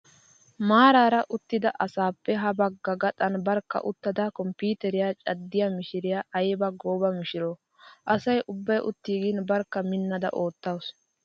Maaraara uttida asappe ha bagga gaxan barkka uttada komppiiteriyaa caddiyaa mishiriyaa ayiba gooba mishiroo. Asa ubbayi uttiigin barkka minnaada oottaawusu.